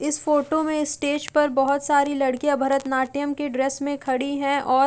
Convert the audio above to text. इस फोटो में स्टेज पर बहोत सारी लड़कियाँ भरतनाट्यम की ड्रेस में खड़ी हैं और --